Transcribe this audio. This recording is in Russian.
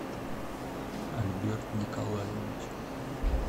альберт николаевич